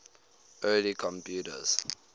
early computers